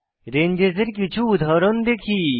ranges এর কিছু উদাহরণ দেখি